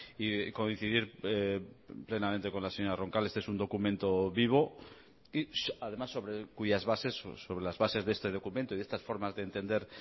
y coincidir plenamente con la señora roncal este es un documento vivo y además sobre cuyas bases sobre las bases de este documento y de estas formas de entender